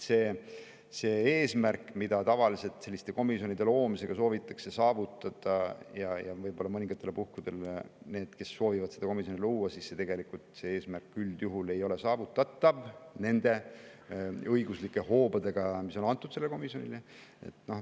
See eesmärk, mida selliste komisjonide loomisega soovivad saavutada võib-olla mõningatel puhkudel need, kes soovivad seda komisjoni luua, tegelikult üldjuhul ei ole saavutatav nende õiguslike hoobadega, mis on sellele komisjonile antud.